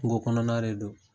Kungokɔnɔna de don